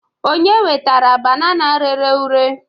onye wetara banana rere ure?